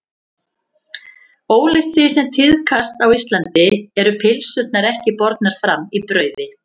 Ólíkt því sem tíðkast á Íslandi eru pylsurnar ekki bornar fram í brauði.